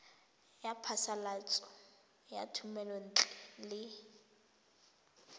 ya phasalatso ya thomelontle le